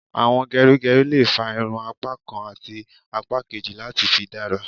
Àwọn gerigeri lè fà irun apá kán àti apá kejì láti fi dára